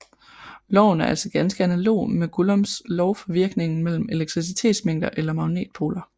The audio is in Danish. Loven er altså ganske analog med Goulombs lov for virkningen mellem elektricitetsmængder eller magnetpoler